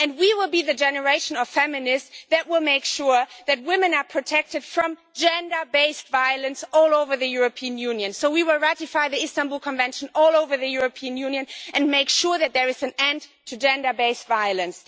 We will be the generation of feminists that will make sure that women are protected from gender based violence all over the European Union. We will ratify the Istanbul Convention all over the European Union and make sure that there is an end to gender based violence.